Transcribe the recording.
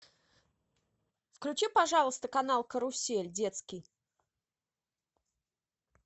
включи пожалуйста канал карусель детский